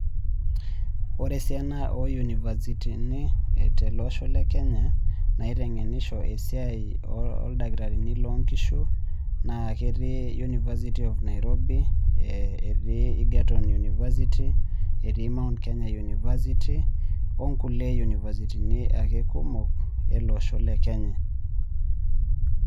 Ore esiana oo univasitini tolosho le Kenya naitengenisho esiai oldakitarini, loo nkishu naa ketii university of Nairobi. etii Egerton university, etii my Kenya university onkulie university kumok, ele Osho le Kenya.